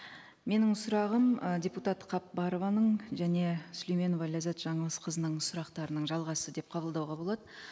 менің сұрағым ы депутат қапбарованың және сүлейменова ләззат жаңылысқызының сұрақтарының жалғасы деп қабылдауға болады